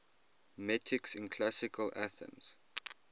metics in classical athens